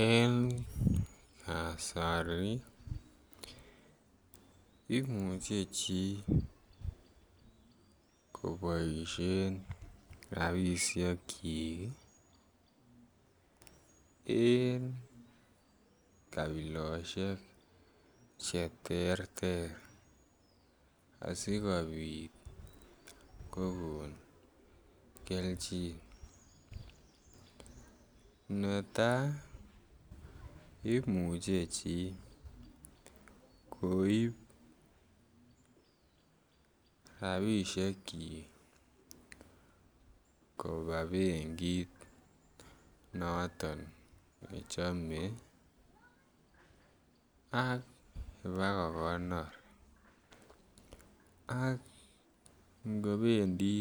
En kasari imuche chi koboishen rabishekyik ii en kabiloshek che terter asikopit kogon kelchin. Netaa imuche chi koib rabishekyik kobaa benkit noton ne chome ak bako kogonor ak kobendi